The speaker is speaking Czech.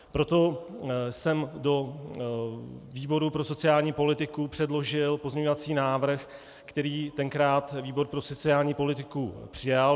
Proto jsem do výboru pro sociální politiku předložil pozměňovací návrh, který tenkrát výbor pro sociální politiku přijal.